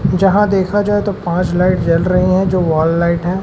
जहां देखा जाए तो पांच लाइट जल रही हैं जो वॉल लाइट हैं।